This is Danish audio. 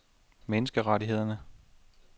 menneskerettighederne